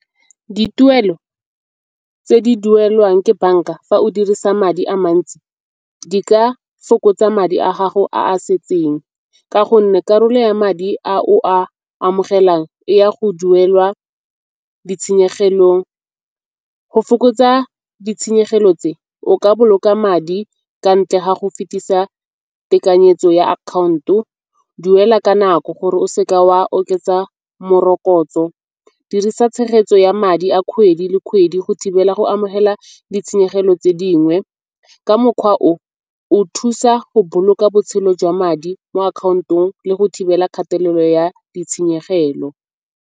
Dituelo tse di duelwang ke banka fa o dirisa madi a mantsi di ka fokotsa madi a gago a a setseng ka gonne karolo ya madi ao a amogelang e ya go duelwa ditshenyegelong. Go fokotsa ditshenyegelo tse o ka boloka madi ka ntle ga go fetisa tekanyetso ya account-o. Duela ka nako gore o se ke wa oketsa morokotso, dirisa tshegetso ya madi a kgwedi le kgwedi go thibela go amogela ditshenyegelo tse dingwe. Ka mokgwa o o thusa go boloka botshelo jwa madi mo account-ong le go thibela kgatelelo ya ditshenyegelo.